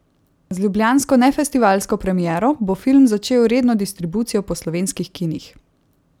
Z ljubljansko nefestivalsko premiero bo film začel redno distribucijo po slovenskih kinih.